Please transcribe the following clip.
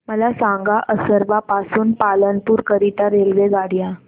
मला सांगा असरवा पासून पालनपुर करीता रेल्वेगाड्या